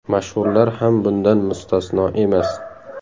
Mashhurlar ham bundan mustasno emas.